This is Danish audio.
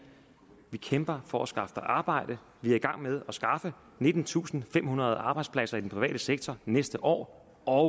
vi kæmper for at skaffe dig arbejde vi er i gang med at skaffe nittentusinde og femhundrede arbejdspladser i den private sektor næste år og